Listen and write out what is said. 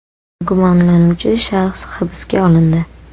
Gumonlanuvchi shaxs hibsga olindi.